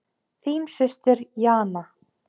Þín systir Jana.